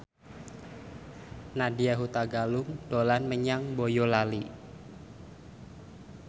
Nadya Hutagalung dolan menyang Boyolali